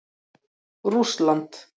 Rússland